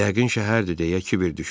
Yəqin şəhərdir, deyə Kiber düşündü.